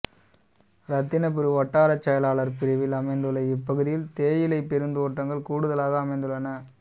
இரத்தினபுரி வட்டாரச் செயலாளர் பிரிவில் அமைந்துள்ள இப்பகுதியில் தேயிலை பெருந்தோட்டங்கள் கூடுதலாக அமைந்துள்ளன